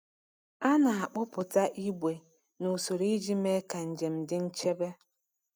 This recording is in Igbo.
A na-akpụpụta igbe n’usoro iji mee ka njem dị nchebe.